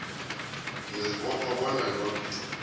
ngiyazibopha bona yoke